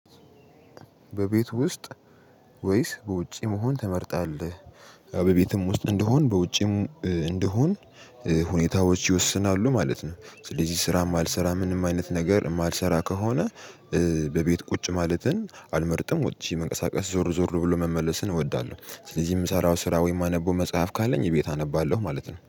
በቤት ውስጥ ወይስ በውጪ መሆን ትመርጣለህ? በቤትም ውስጥ እንደሆን በውጪም እንደሆን ሁኔታዎች ይወስናሉ ማለት ነው። ስለዚህ ስራም አልሰራ ምንም አይነት ነገር የማልሰራ ከሆነ። በቤት ቁጭ ማለትን አልመርጥም ወጪ መንቀሳቀስ ዞር ዞር ብሎ መመለስን እወዳለሁ። ስለዚህ የምሰራው ስራ ወይም የማነበው መጽሐፍ ካለኝ እቤት አነባለሁ ማለት ነው